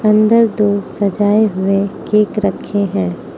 अन्दर दो सजाए हुए केक रखे हैं।